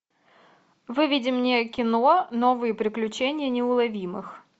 выведи мне кино новые приключения неуловимых